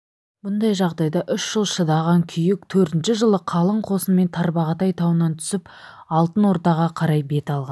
бұндай жағдайда үш жыл шыдаған күйік төртінші жылы қалың қосынмен тарбағатай тауынан түсіп алтын ордаға қарай бет алған